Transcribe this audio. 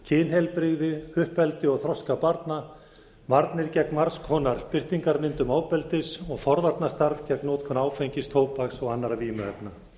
kynheilbrigði uppeldi og þroska barna varnir gegn margs konar birtingarmyndum ofbeldis og forvarnarstarf gegn notkun áfengis tóbaks og annarra vímuefna